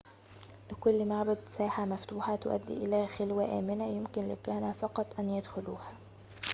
لكل معبد ساحة مفتوحة تؤدي إلى خلوة آمنة يمكن للكهنة فقط أن يدخلوها